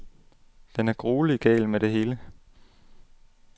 Den er gruelig gal med det hele.